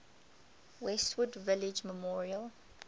westwood village memorial